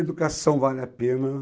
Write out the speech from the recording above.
Educação vale a pena.